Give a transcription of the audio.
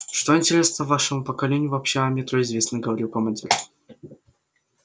что интересно вашему поколению вообще о метро известно говорил командир